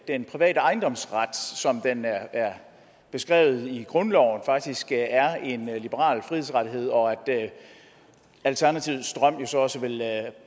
den private ejendomsret som den er beskrevet i grundloven faktisk er en liberal frihedsrettighed og at alternativets drøm jo så også